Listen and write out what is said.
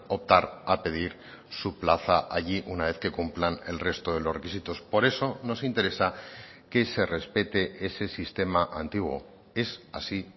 optar a pedir su plaza allí una vez que cumplan el resto de los requisitos por eso nos interesa que se respete ese sistema antiguo es así